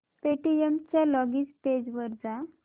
Paytm च्या login page वर जा